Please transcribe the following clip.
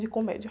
De comédia.